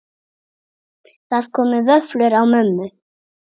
Það komu vöflur á mömmu.